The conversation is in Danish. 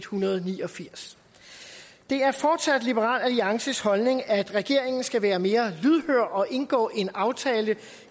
hundrede og ni og firs det er fortsat liberal alliances holdning at regeringen skal være mere lydhør og indgå en aftale